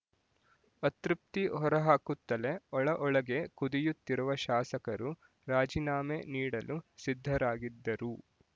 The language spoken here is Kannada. ಅತೃಪ್ತಿ ಹೊರಹಾಕುತ್ತಲೇ ಒಳಒಳಗೆ ಕುದಿಯುತ್ತಿರುವ ಶಾಸಕರು ರಾಜೀನಾಮೆ ನೀಡಲು ಸಿದ್ಧರಾಗಿದ್ದರೂ